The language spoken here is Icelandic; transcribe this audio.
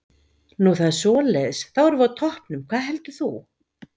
Nú það er svoleiðis, þá erum við á toppnum, hvað heldur þú?